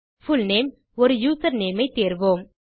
full name ஒரு username ஐ தேர்வோம்